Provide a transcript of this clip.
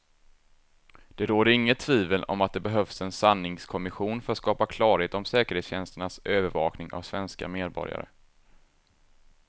Det råder inget tvivel om att det behövs en sanningskommission för att skapa klarhet om säkerhetstjänsternas övervakning av svenska medborgare.